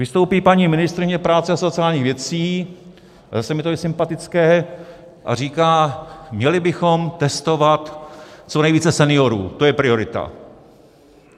Vystoupí paní ministryně práce a sociálních věcí, a zase mně to je sympatické, a říká: měli bychom testovat co nejvíce seniorů, to je priorita.